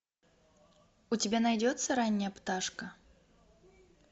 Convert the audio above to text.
у тебя найдется ранняя пташка